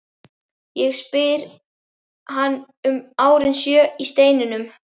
Ég spyr hann um árin sjö í steininum.